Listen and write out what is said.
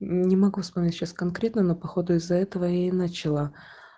не могу вспомнить сейчас конкретно но походу из-за этого я и начала